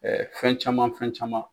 fɛn caman fɛn caman